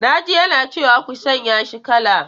Na ji yana cewa 'ku sanya shi kala!'